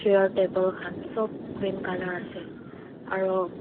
chair table khan sob green colour ase aru.